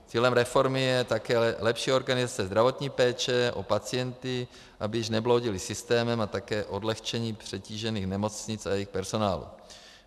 Cílem reformy je také lepší organizace zdravotní péče o pacienty, aby již nebloudili systémem, a také odlehčení přetížených nemocnic a jejich personálu.